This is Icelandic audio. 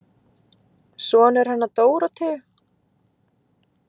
Sonur hennar Dóróteu.